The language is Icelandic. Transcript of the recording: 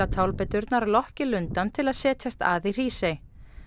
tálbeiturnar lokki lundann til að setjast að í Hrísey